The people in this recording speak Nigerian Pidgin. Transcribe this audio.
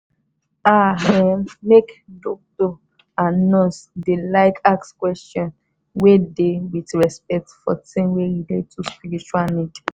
ah erm make dokto and nurse deylike ask question wey dey wit respect for tin wey relate to spiritual need